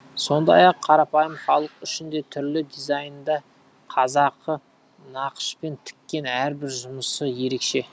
сондай ақ қарапайым халық үшін де түрлі дизайнда қазақы нақышпен тіккен әрбір жұмысы ерекше